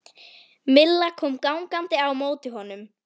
Milla kom gangandi á móti honum.